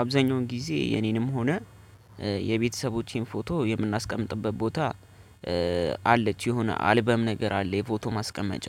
አብዛኛውን ጊዜ የኔንም ሆነ የቤተሰቦቼን ፎቶ የምናስቀምጥበት ቦታ አለች የሆነ አልበም ነገር አለ የፎቶ ማስቀመጫ